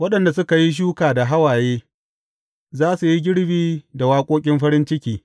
Waɗanda suka yi shuka da hawaye za su yi girbi da waƙoƙin farin ciki.